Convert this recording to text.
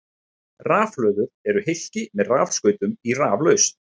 Rafhlöður eru hylki með rafskautum í raflausn.